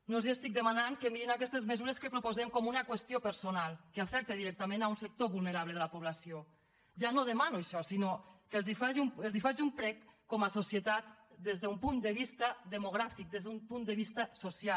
no els estic demanant que mirin aquestes mesures que proposem com una qüestió personal que afecta directament un sector vulnerable de la població ja no demano això sinó que els faig un prec com a societat des d’un punt de vista demogràfic des d’un punt de vista social